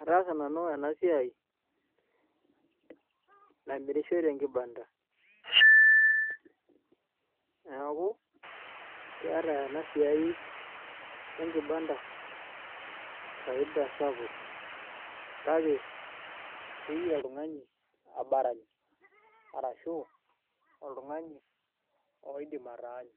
ataasa nanu ena siai namirishoi tenkibanda neeku eeta ena siai enkibanda faida sapuk kake keyieu oltung'ani abarani arashu oltung'ani oidim ataanyu.